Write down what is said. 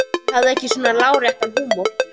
Hún hafði ekki svona láréttan húmor.